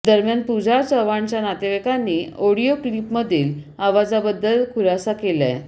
दरम्यान पुजा चव्हाणच्या नातेवाईकांनी ऑडीओ क्लीपमधील आवाजाबद्दल खुलासा केलाय